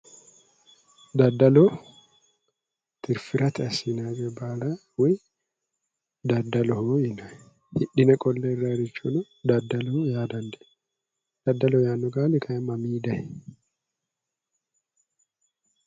Daddalu tirfirate assinayi coye baala daddaloho yinayi. Hidhine qolle hirrayirichono daddaloho yaa dandiinayi. Daddaloho yaanno qaali kayi mamii dayi?